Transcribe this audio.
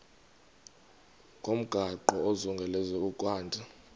ngomgaqo ozungulezayo ukanti